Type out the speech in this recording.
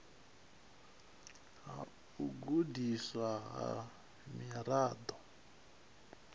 ha u gudiswa ha miraḓo